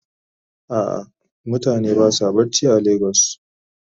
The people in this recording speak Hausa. A'a mutane basa barci are lagos.